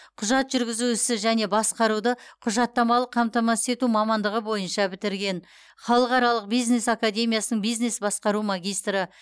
құжат жүргізу ісі және басқаруды құжаттамалық қамтамасыз ету мамандығы бойынша бітірген халықаралық бизнес академиясының бизнес басқару магистрі